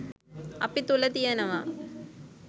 අපි තුළ තියනවා.